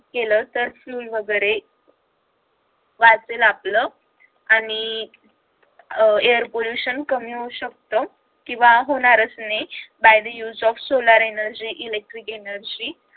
केलं तर fuel वगैरे वाचेल आपलं आणि अह air pollution कमी होऊ शकत किंवा होणारच नाही by the use of solar energy, electric energy